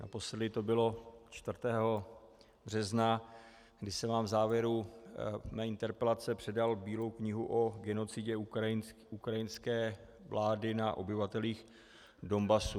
Naposledy to bylo 4. března, kdy jsem vám v závěru své interpelace předal Bílou knihu o genocidě ukrajinské vlády na obyvatelích Donbasu.